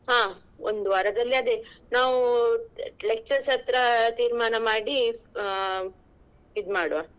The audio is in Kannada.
ಹ ಒಂದು ವಾರದಲ್ಲಿ ಅದೇ ನಾವು lecturers ಹತ್ರ ಆ ತೀರ್ಮಾನ ಮಾಡಿ ಆಹ್ ಇದ್ ಮಾಡುವ.